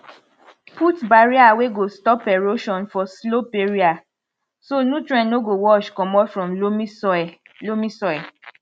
put barrier wey go stop erosion for slope area so nutrients no go wash comot from loamy soil loamy soil